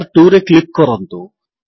tab 2ରେ click କରନ୍ତୁ